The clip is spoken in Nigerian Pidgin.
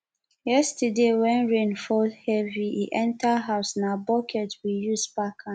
yesterday wen rain fall heavy e enter house na bucket we use pack am